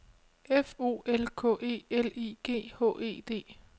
F O L K E L I G H E D